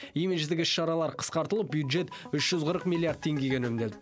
имидждік іс шаралар қысқартылып бюджет үш жүз қырық миллиард теңгеге үнемделді